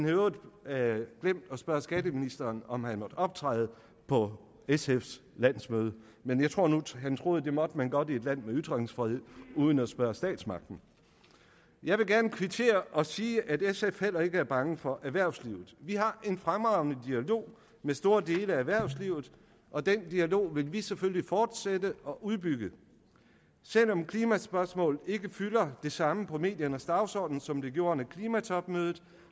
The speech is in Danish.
i øvrigt glemt at spørge skatteministeren om han måtte optræde på sfs landsmøde men jeg tror nu han troede at det måtte man godt i et land med ytringsfrihed uden at spørge statsmagten jeg vil gerne kvittere og sige at sf heller ikke er bange for erhvervslivet vi har en fremragende dialog med store dele af erhvervslivet og den dialog vil vi selvfølgelig fortsætte og udbygge selv om klimaspørgsmål ikke fylder det samme på mediernes dagsorden som de gjorde under klimatopmødet